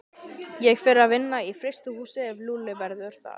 Ég fer að vinna í frystihúsi ef Lúlli verður þar.